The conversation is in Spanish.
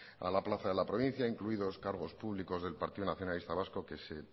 a la plaza de la provincia incluidos cargos públicos del partido nacionalista vasco que se